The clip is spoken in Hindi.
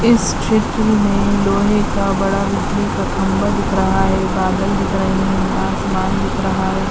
इस चित्र में लोहे का बड़ा बिजली का खम्भा दिख रहा है बादल दिख रहे हैं आसमान दिख रहा है।